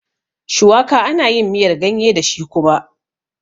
Shuwaka ana yin miyar ganye dashi kuma